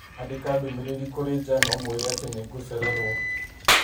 Andĩka ndũmĩrĩri kũrĩ Jan ũmuĩre atĩ nĩ ngũcererwo